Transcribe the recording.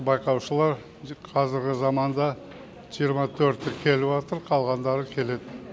байқаушылар қазіргі заманда жиырма төрті келіватыр қалғандары келеді